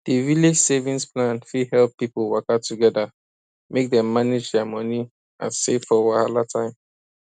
di village savings plan fit help pipo waka together make dem manage dia money and save for wahala time